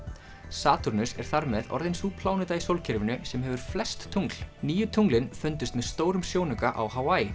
Satúrnus er þar með orðin sú pláneta í sólkerfinu sem hefur flest tungl nýju tunglin fundust með stórum sjónauka á